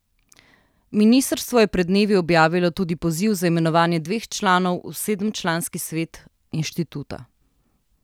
Ministrstvo je pred dnevi objavilo tudi poziv za imenovanje dveh članov v sedemčlanski svet inštituta.